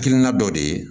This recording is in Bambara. Hakilina dɔ de ye